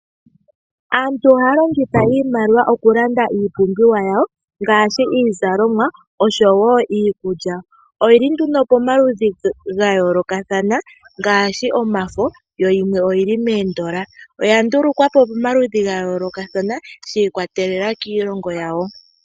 Aantu ohaya longitha iimaliwa okulanda iipumbiwa yawo ngaashi iizalomwa oshowo iikulya. Oyili nduno pomaludhi ga yoolokathana ngaashi omafo yo yimwe oyili moondola oya ndulukwapo kamaludhi ga yoolokathana shi ikwatelela kiilongo yawo.